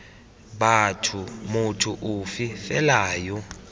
batho motho ofe fela yo